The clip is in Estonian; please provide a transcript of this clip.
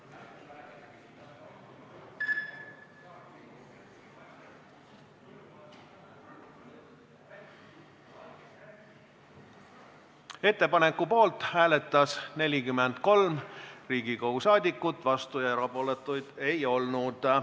Hääletustulemused Ettepaneku poolt hääletas 43 Riigikogu liiget, vastuolijaid ega erapooletuid ei olnud.